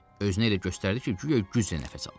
Özünü elə göstərdi ki, guya güclə nəfəs alır.